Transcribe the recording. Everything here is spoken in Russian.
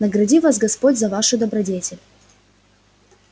награди вас господь за вашу добродетель